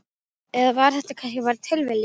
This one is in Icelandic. Eða var þetta kannski bara tilviljun?